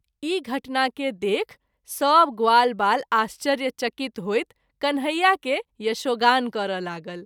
ई घटना के देखि सभ ग्वालबाल आश्चर्य चकित होइत कन्हैया के यशोगान करय लागल।